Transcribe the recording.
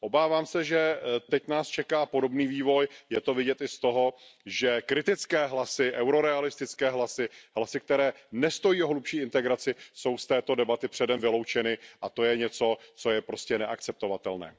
Obávám se, že teď nás čeká podobný vývoj, je to vidět i z toho, že kritické hlasy, eurorealistické hlasy, hlasy, které nestojí o hlubší integraci, jsou z této debaty předem vyloučeny a to je něco, co je prostě neakceptovatelné.